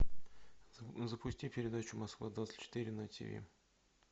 запусти передачу москва двадцать четыре на тиви